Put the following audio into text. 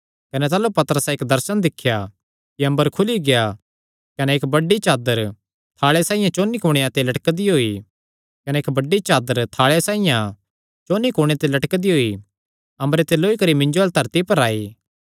कने ताह़लू पतरसैं इक्क दर्शन दिख्या कि अम्बर खुली गेआ कने इक्क बड़ी चादर थाल़े साइआं चौंन्नी कुणेयां ते लटकदी होई अम्बरे ते लौई करी मिन्जो अल्ल धरती पर आई